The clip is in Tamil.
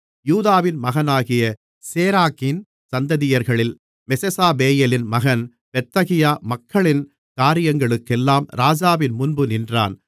யூதாவின் மகனாகிய சேராக்கின் சந்ததியர்களில் மெசெசாபெயேலின் மகன் பெத்தகியா மக்களின் காரியங்களுக்கெல்லாம் ராஜாவின் முன்பு நின்றான்